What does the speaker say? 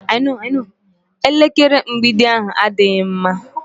Elekere mgbidi ahu adịghị mma.